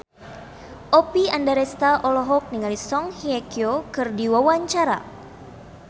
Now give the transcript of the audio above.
Oppie Andaresta olohok ningali Song Hye Kyo keur diwawancara